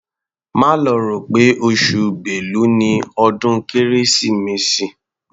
Má lọ rò pé oṣù Bélu ni ọdún Kérésìmesì.